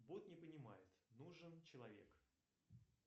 бот не понимает нужен человек